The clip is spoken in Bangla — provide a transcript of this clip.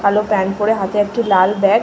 কালো প্যান্ট পরে হাতে একটি লাল ব্যাগ --